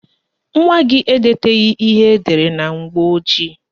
Nwa gị edetaghị ihe edere na mgbọojii